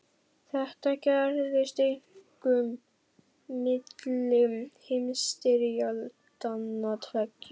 Þetta gerðist einkum milli heimsstyrjaldanna tveggja.